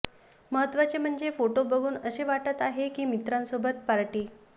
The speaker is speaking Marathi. महत्त्वाचे म्हणजे फोटो बघून असे वाटत आहे की मित्रांसोबत पार्टी